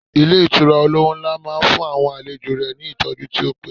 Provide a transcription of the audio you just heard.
Ilé Ìtura olówó nlá máa n fún àwọn àlejò rẹ̀ ní ìtọ́jú tí ó péye